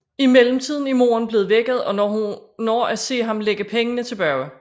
I mellemtiden er moren blevet vækket og når at se ham lægge pengene tilbage